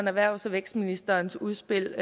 erhvervs og vækstministerens udspil